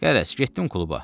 Qərəz, getdim kluba.